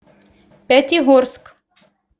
пятигорск